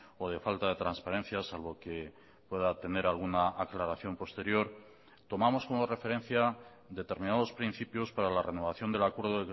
o de falta de transparencia salvo que pueda tener alguna aclaración posterior tomamos como referencia determinados principios para la renovación del acuerdo